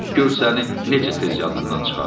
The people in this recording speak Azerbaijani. Gör səni necə tez yadımdan çıxarıb!